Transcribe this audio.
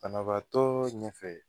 Banabaatɔɔ ɲɛfɛ